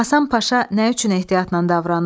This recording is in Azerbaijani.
Həsən Paşa nə üçün ehtiyatla davranırdı?